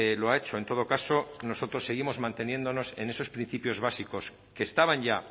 lo ha hecho en todo caso nosotros seguimos manteniéndonos en esos principios básicos que estaban ya